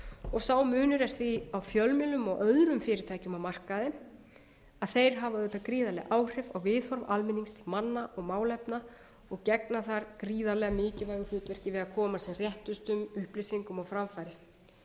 og sá munur er því á fjölmiðlum og öðrum fyrirtækjum á markaði að þeir hafa auðvitað gríðarleg áhrif á viðhorf almennings til manna og málefna og gegna þar gríðarlega mikilvægu hlutverki við að koma sem réttustum upplýsingum á framfæri mál það